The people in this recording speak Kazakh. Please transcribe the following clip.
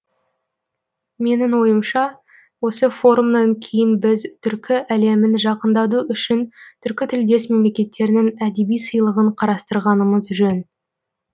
менің ойымша осы форумнан кейін біз түркі әлемін жақындату үшін түркітілдес мемлекеттерінің әдеби сыйлығын қарастырғанымыз жөн